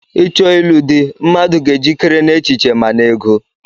Icho ilu di, mmadụ ga-ejikere n'echiche ma n'ego.